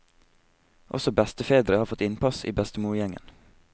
Også bestefedre har fått innpass i bestemorgjengen.